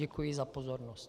Děkuji za pozornost.